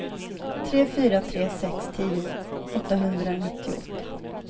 tre fyra tre sex tio åttahundranittioåtta